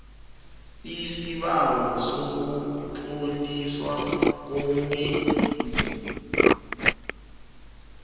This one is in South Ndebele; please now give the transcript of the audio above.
lsibawo sokutloliswa komenzi